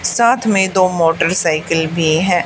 साथ में दो मोटरसाइकिल भी है।